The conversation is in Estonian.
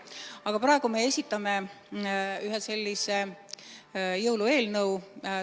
Aga praegu me esitame ühe jõulueelnõu.